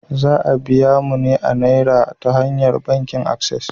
Za a biya mu ne a Naira ta hanyar bankin Access.